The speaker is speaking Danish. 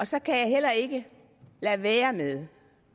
så kan jeg heller ikke lade være med